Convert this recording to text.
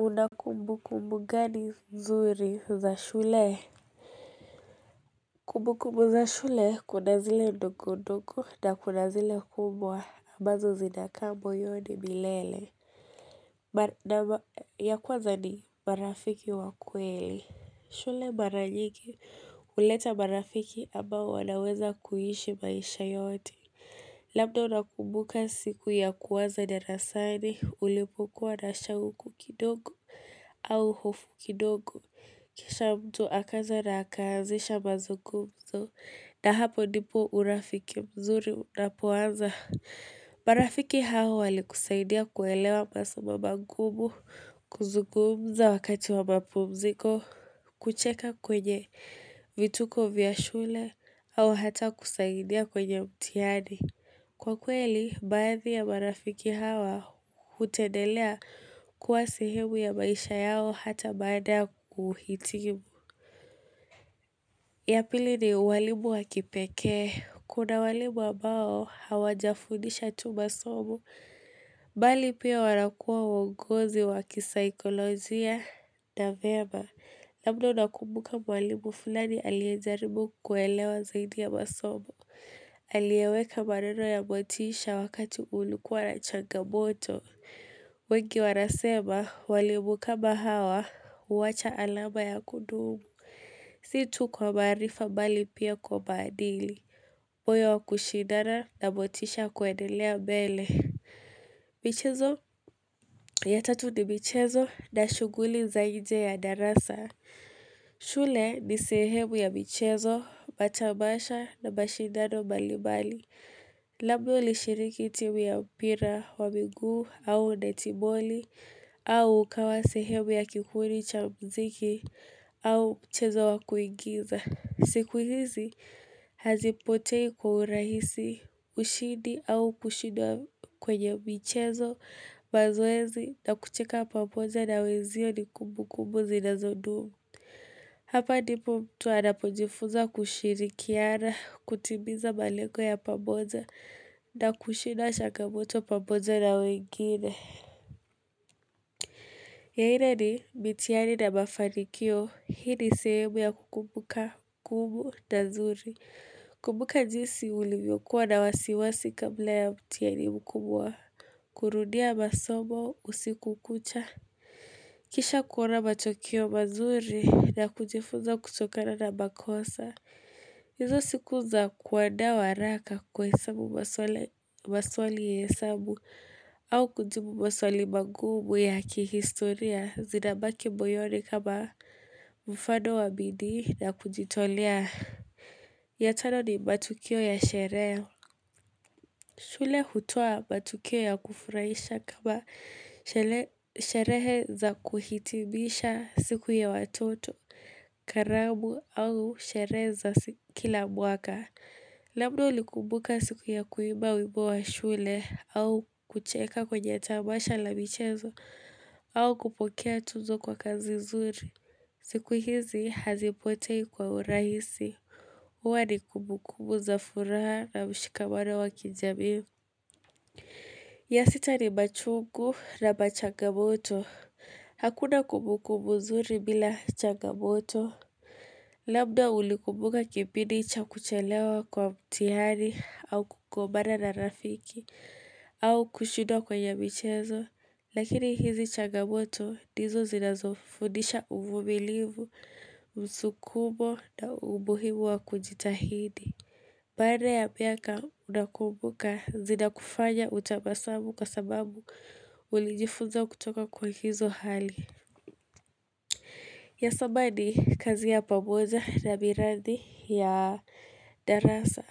Una kumbukumbu gani nzuri za shule? Kumbukumbu za shule kuna zile ndogo ndogo na kuna zile kubwa ambazo zinaka moyoni milele. Ya kwaza ni marafiki wa kweli. Shule mara nyingi, huleta marafiki ambao wanaweza kuishi maisha yote. Labda unakumbuka siku ya kwaza darasani, ulipokuwa na shauku kidogo au hofu kidogo. Kisha mtu akaja na akaazisha mazugumzo, na hapo ndipo urafiki mzuri unapoanza. Marafiki hao walikusaidia kuelewa masomo magumu, kuzugumza wakati wa mapumziko, kucheka kwenye vituko vya shule, au hata kusaidia kwenye mtihani. Kwa kweli, baadhi ya marafiki hao hutendelea kuwa sehemu ya maisha yao hata baada ya kuhitimu. Ya pili ni walimu wa kipekee. Kuna walimu ambao hawajafundisha tu masomo. Bali pia wanakuwa wongozi wakisaikolojia na vyema. Labda unakumbuka mwalimu fulani aliyejaribu kuelewa zaidi ya masomo. Aliyeweka maneno ya motisha wakati ulikuwa na changamoto. Wengi wanasema walimu kama hawa huwacha alama ya kudumu. Si tu kwa maarifa bali pia kwa maadili, moyo wa kushidana na motisha kuendelea mbele. Michezo, ya tatu ni michezo na shughuli za nje ya darasa. Shule ni sehemu ya michezo, matabasha na mashidado mbali mbali. Labda ulishiriki timu ya mpira wa miguu au netiboli, au kawa sehemu ya kikundi cha muziki au mchezo wa kuingiza. Siku hizi hazipotei kwa urahisi ushidi au kushidwa kwenye michezo mazoezi na kucheka pamoja na wenzio ni kumbukumbu zinazodumu. Hapa ndipo mtu anapojifunza kushirikiana, kutimiza malengo ya pamoja na kushinda changamoto pamoja na wengine. Ya nn ni mitihani na mafanikio, hii ni sehemu ya kukumbuka kumbu na nzuri. Kukumbuka jinsi ulivyokuwa na wasiwasi kabla ya mtihani mkubwa, kurudia masomo usiku kucha. Kisha kuona matokeo mazuri ya kujifunza kutokana na makosa. Hizo siku za kuaanda waraka kwa hesabu maswali ya hesabu au kujibu maswali magumu ya kihistoria zinabaki moyoni kama mfano wa bidii na kujitolea. Ya tano ni matukio ya sherehe shule hutoa matukio ya kufurahisha kama sherehe za kuhitibisha siku ya watoto karamu au sherehe za kila mwaka Labda ulikumbuka siku ya kuimba wimbo wa shule au kucheka kwenye tamasha la michezo au kupokea tunzo kwa kazi nzuri siku hizi hazipotei kwa urahisi huwa ni kumbukumbu za furaha na mshikamano wa kijamii. Ya sita ni machungu na machangamoto. Hakuna kumbukumbu nzuri bila changamoto. Labda ulikumbuka kipindi cha kuchelewa kwa mtihani au kugombana na rafiki au kushidwa kwenye michezo. Lakini hizi changamoto ndizo zinazofundisha uvumilivu, msukumo na umuhimu wa kujitahidi. Baada ya miaka unakumbuka zidakufanya utabasamu kwa sababu ulijifunza kutoka kwa hizo hali. Ya saba ni kazi ya pamoja na miradi ya darasa.